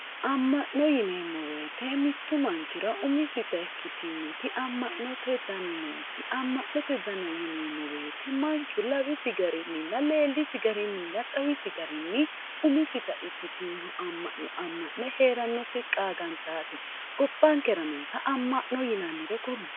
amma'no yineemo woyiite mittu manchira umisita ikkitinnoti amma'note dani noosi amma'note dana yineemo wiyiite manchu lawisi garininna leelisi garininna xawisi garinni umisita ikkittinno amma'no amma'ne heerannoti qaagantaate gobbankera noota ama'no yinannire kulle